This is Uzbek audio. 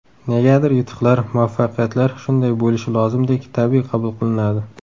Negadir yutuqlar, muvaffaqiyatlar shunday bo‘lishi lozimdek tabiiy qabul qilinadi.